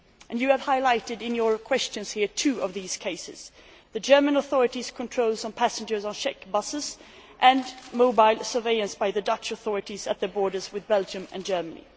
You have highlighted in your questions here two of these cases the German authorities' controls on passengers on Czech buses and mobile surveillance by the Dutch authorities at their borders with Belgium and Germany.